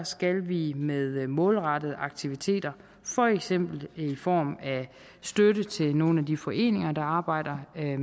skal vi med målrettede aktiviteter for eksempel i form af støtte til nogle af de foreninger der arbejder med